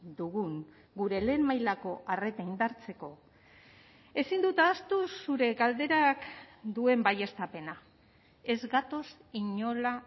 dugun gure lehen mailako arreta indartzeko ezin dut ahaztu zure galderak duen baieztapena ez gatoz inola